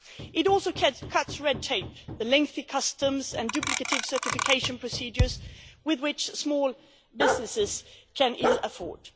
It also cuts red tape, the lengthy customs and duplicative certification procedures which small businesses can ill afford.